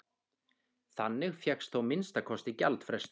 Þannig fékkst þó að minnsta kosti gjaldfrestur.